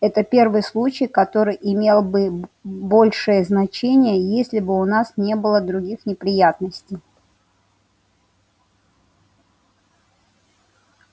это первый случай который имел бы большее значение если бы у нас не было других неприятностей